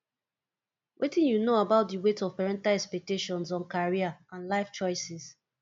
wetin you know about di weight of parental expactations on career and life choices